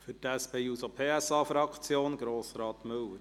Für die SP-JUSO-PSA-Fraktion: Grossrat Müller.